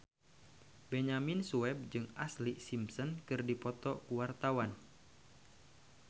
Benyamin Sueb jeung Ashlee Simpson keur dipoto ku wartawan